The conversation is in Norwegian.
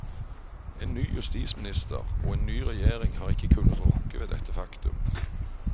En ny justisminister og en ny regjering har ikke kunnet rokke ved dette faktum.